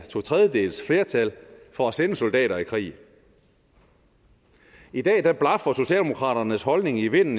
totredjedelsflertal for at sende soldater i krig i dag blafrer socialdemokraternes holdning i vinden